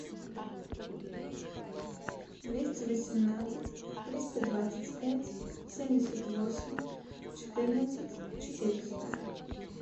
двести восемнадцать триста двадцать пять семьдесят восемь четырнадцать четыреста